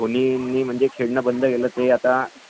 जिंकवले आहेत